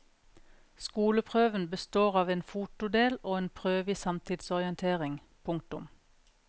Skoleprøven består av en fotodel og en prøve i samtidsorientering. punktum